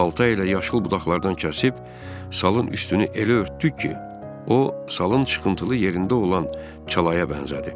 Balta ilə yaşıl budaqlardan kəsib salın üstünü elə örtdük ki, o salın çıxıntılı yerində olan çalaya bənzədi.